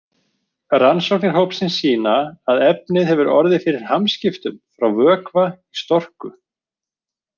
Rannsóknir hópsins sýna að efnið hefur orðið fyrir hamskiptum frá vökva í storku.